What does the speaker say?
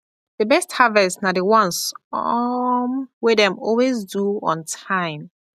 the best harvest na the ones um wey dem always do on time